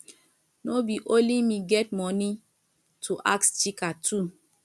no be only me get money go ask chika too